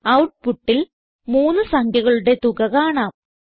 ഔട്ട്പുട്ടിൽ മൂന്ന് സംഖ്യകളുടെ തുക കാണാം